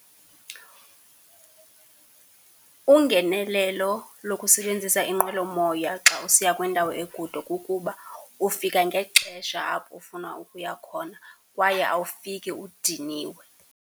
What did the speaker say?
Ungenelelo lokusebenzisa inqwelomoya xa usiya kwindawo ekude kukuba ufika ngexesha apho ufuna ukuya khona kwaye awufiki udiniwe.